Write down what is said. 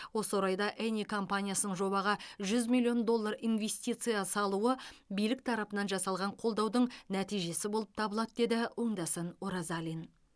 осы орайда эни компаниясының жобаға жүз миллион доллар инвестиция салуы билік тарапынан жасалған қолдаудың нәтижесі болып табылады деді оңдасын оразалин